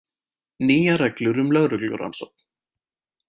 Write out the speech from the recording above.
Nýjar reglur um lögreglurannsókn